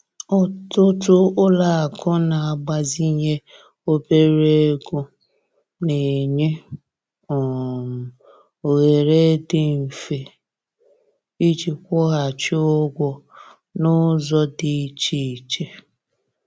Ọtụtụ ụlọakụ na-agbazinye obere ego na-enye um ohere dị mfe iji kwụghachi ụgwọ n'ụzọ dị iche iche